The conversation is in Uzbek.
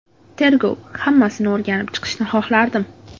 Tergov hammasini o‘rganib chiqishini xohlardim.